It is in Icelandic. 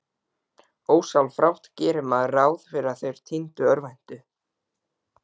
Ósjálfrátt gerir maður ráð fyrir að þeir týndu örvænti.